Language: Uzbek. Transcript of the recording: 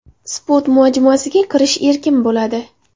Sport majmuasiga kirish erkin bo‘ladi.